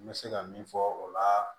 N bɛ se ka min fɔ o la